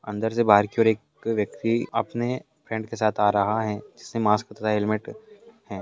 अंदर से बाहर की ओर एक व्यक्ति अपने फ्रेंड के साथ आ रहा है जिसने मास्क तथा हेलमेट है।